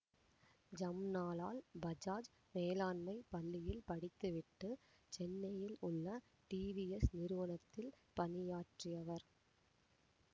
ஜம்னாலால் பஜாஜ் மேலாண்மை பள்ளியில் படித்து விட்டு சென்னையில் உள்ள டிவிஎஸ் நிறுவனத்தில் பணியாற்றியவர்